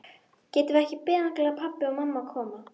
Getum við ekki beðið þangað til pabbi og mamma koma?